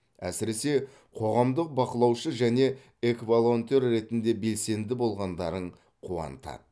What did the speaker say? әсіресе қоғамдық бақылаушы және экволонтер ретінде белсенді болғандарың қуантады